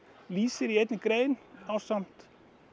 lýsir í einni grein ásamt